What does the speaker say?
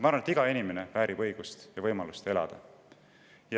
Ma arvan, et iga inimene väärib õigust ja võimalust elada.